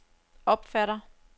opfatter